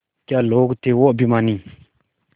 क्या लोग थे वो अभिमानी